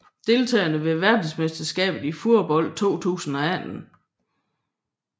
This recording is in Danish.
Deltagere ved verdensmesterskabet i fodbold 2018